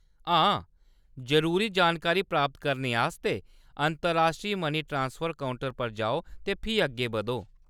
हां, जरूरी जानकारी प्राप्त करने आस्तै अंतर्राश्ट्री मनी ट्रांसफर काउंटर पर जाओ ते फ्ही अग्गें बधो।